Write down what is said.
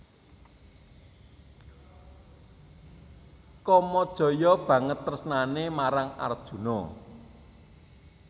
Kamajaya banget tresnané marang Arjuna